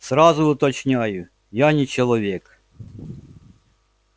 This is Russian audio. сразу уточняю я не человек